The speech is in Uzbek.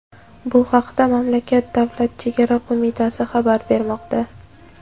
Bu haqda mamlakat Davlat chegara qo‘mitasi xabar bermoqda.